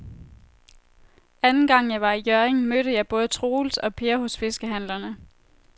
Anden gang jeg var i Hjørring, mødte jeg både Troels og Per hos fiskehandlerne.